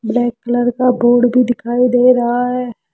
Black colour का बोर्ड भी दिखाई दे रहा है।